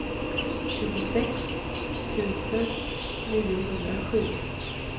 tjugosex tusen niohundrasju